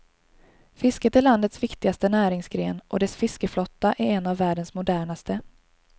Fisket är landets viktigaste näringsgren, och dess fiskeflotta är en av världens modernaste.